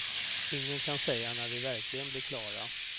Ingen kan säga när vi verkligen blir klara.